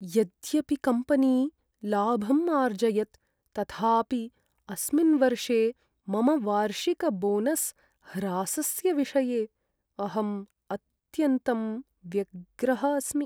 यद्यपि कम्पनी लाभम् आर्जयत् तथापि, अस्मिन् वर्षे मम वार्षिकबोनस् ह्रासस्य विषये अहम् अत्यन्तं व्यग्रः अस्मि।